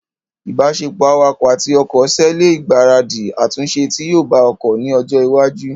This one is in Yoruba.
ìbáṣepọ̀ awakọ̀ àti ọkọ̀ ṣe ẹ lè gbaradì àtúnṣe tí yóò bá ọkọ̀ ní ọjọ́ iwájú